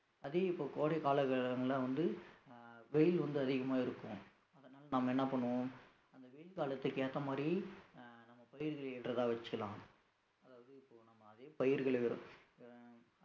அதே இப்ப கோடை காலங்கள்ல வந்து அஹ் வெயில் வந்து அதிகமா இருக்கும் அதனால நம்ம என்ன பண்ணுவோம் அந்த வெயில் காலத்துக்கு ஏத்த மாதிரி அஹ் நம்ம ஏற்றதா வெச்சுக்கலாம் அதாவது இப்போ நாம அதே பயிர்கள அஹ்